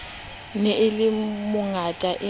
ne o le mongata e